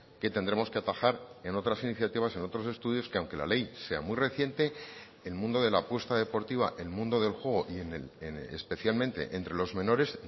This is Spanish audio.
que tendremos que atajar en otras iniciativas en otros estudios que aunque la ley sea muy reciente el mundo de la apuesta deportiva el mundo del juego y especialmente entre los menores